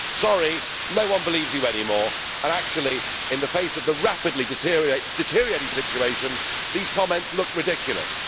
Sorry, no one believes you anymore, and actually, in the face of the rapidly deteriorating situation, these comments look ridiculous.